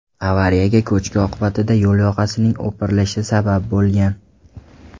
Avariyaga ko‘chki oqibatida yo‘l yoqasining o‘pirilishi sabab bo‘lgan.